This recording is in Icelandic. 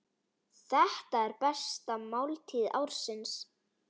Þetta er besta máltíð ársins.